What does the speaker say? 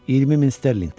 20 min sterlinqdən.